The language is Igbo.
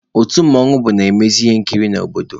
Otu mmanwụ bụ na-emezị ihe nkiri n'obodo